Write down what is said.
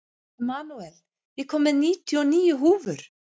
Emanúel, ég kom með níutíu og níu húfur!